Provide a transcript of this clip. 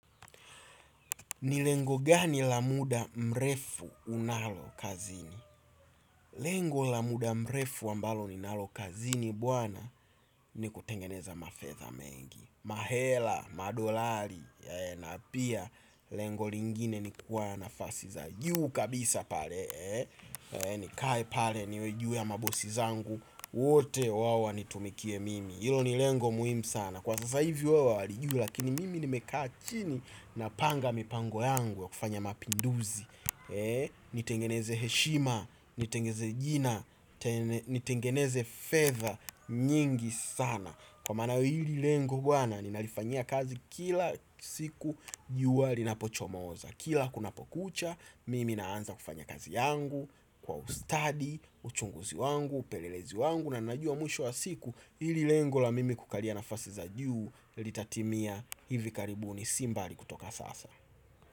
Ni lengo gani la muda mrefu unalokazini. Lengo la muda mrefu ambalo ninalo kazini buwana ni kutengeneza mafetha mengi mahela, madolari, na pia lengo lingine ni kuwa nafasi za juu kabisa pale. Nikae pale niweju ya mabosi zangu. Wote wawa nitumikie mimi ilo ni lengo muhimu sana. Kwa sasa hivi wawali juu lakini mimi nimekaa chini napanga mipango yangu ya kufanya mapinduzi. Ni tengeneze heshima, ni tengeneze jina, ni tengeneze feadha nyingi sana. Kwa mana hili lengo bwana ninalifanya kazi kila siku juwa linapo chomoza. Kila kuna pokucha mimi naanza kufanya kazi yangu kwa ustadi, uchunguzi wangu, upelelezi wangu na najua mwisho wa siku ili lengo la mimi kukaria nafasi za juu litatimia hivi karibuni si mbali kutoka sasa.